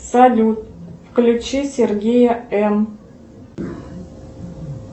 салют включи сергея м